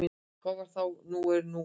Það var þá og nú er nú.